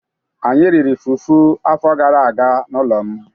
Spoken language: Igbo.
Anyị riri fufu afọ gara aga n'ụlọ m